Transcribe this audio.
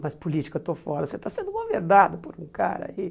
Mas política eu estou fora, você está sendo governado por um cara aí.